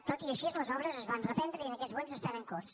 tot i així les obres es van reprendre i en aquests moments estan en curs